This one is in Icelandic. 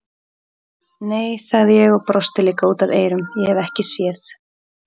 Nei, sagði ég og brosti líka út að eyrum, ég hef ekki séð